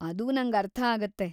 ಅದು ನಂಗರ್ಥಾಗತ್ತೆ.